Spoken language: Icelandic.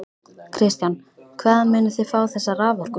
Kristján: Hvaðan munið þið fá þessa raforku?